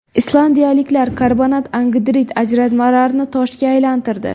Islandiyaliklar karbonat angidrid ajralmalarini toshga aylantirdi.